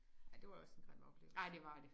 Ja det var også en grim oplevelse